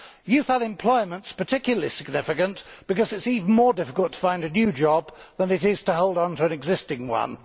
Youth unemployment is particularly significant because it is even more difficult to find a new job than it is to hold on to an existing one.